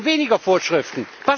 Wir wollen weniger Vorschriften.